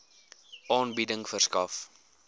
aanbieding verskaf